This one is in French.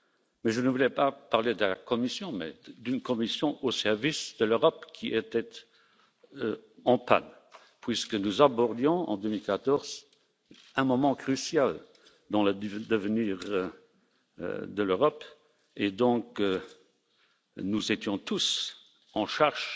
Mais je ne voulais pas parler de la Commission, mais d'une Commission au service de l'Europe qui était en panne, puisque nous abordions en 2014 un moment crucial dans l'avenir de l'Europe et donc, nous étions tous en charge